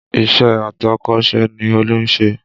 Ìṣe atọ́kọ̀sè ni Olú ń ṣe